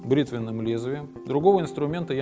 бритвенным лезвием другого инструмента я